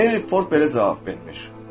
Henry Ford belə cavab vermiş: